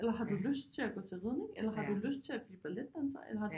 Eller har du lyst til at gå til ridning eller har du lyst til at blive balletdanser eller har du